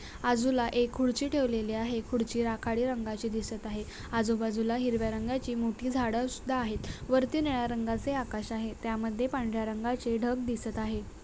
बाजूला एक खुर्ची ठेवलेली आहे खुर्ची राखाडी रंगाची दिसत आहे आजूबाजूला हिरव्या रंगाची मोठी झाड सुद्धा आहेत वरती निळ्या रंगाचे आकाश आहे त्यामध्ये पांढऱ्या रंगाचे ढग दिसत आहे.